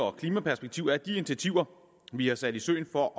og klimaperspektiv er at de initiativer vi har sat i søen for